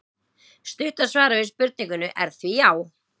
Stutta svarið við spurningunni er því já!